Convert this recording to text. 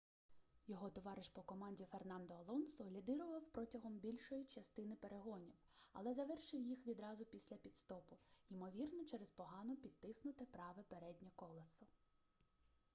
його товариш по команді фернандо алонсо лідирував протягом більшої частини перегонів але завершив їх відразу після піт-стопу ймовірно через погано підтиснуте праве переднє колесо